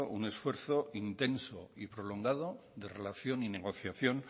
un esfuerzo intenso y prolongado de relación y negociación